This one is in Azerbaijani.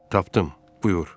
Tapdım, buyur.